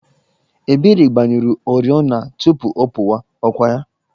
Ebere gbanyụrụ oriọna tupu ọ pụwa, ọ kwa ya?